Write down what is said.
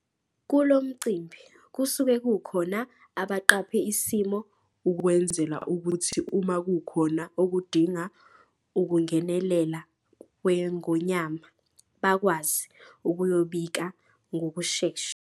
Kulo mcimbi, kusuke kukhona abaqaphe isimo ukwenzela ukuthi uma kukhona okudinga ukungenelela kweNgonyama bakwazi ukuyobika ngokushesha.